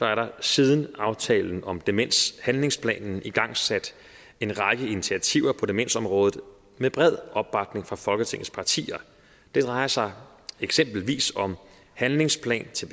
er der siden aftalen om demenshandlingsplanen igangsat en række initiativer på demensområdet med bred opbakning fra folketingets partier det drejer sig eksempelvis om handlingsplan til